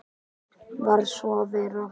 Varð svo að vera.